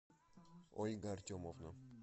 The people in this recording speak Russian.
ольга артемовна